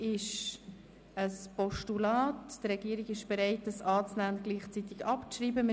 Die Regierung ist bereit, dieses anzunehmen und gleichzeitig abzuschreiben.